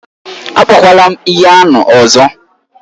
Akpọkwala m ihe ahụ ọzọ!